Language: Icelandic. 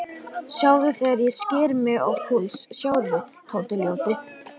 Sjáðu þegar ég sker mig á púls, sjáðu, Tóti ljóti.